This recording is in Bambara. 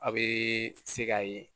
A bɛ se k'a ye